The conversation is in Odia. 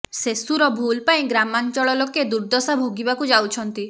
ସେସୁର ଭୁଲ ପାଇଁ ଗ୍ରାମାଞ୍ଚଳ ଲୋକେ ଦୁର୍ଦ୍ଦଶା ଭୋଗିବାକୁ ଯାଉଛନ୍ତି